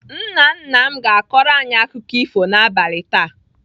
Nna nna m ga-akọrọ anyị akụkọ ifo n'abalị taa